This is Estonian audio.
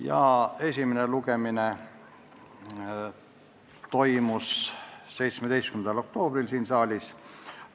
Selle esimene lugemine toimus 17. oktoobril siin saalis.